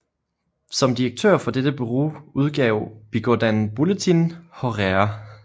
Som direktør for dette bureau udgav Bigourdan Bulletin horaire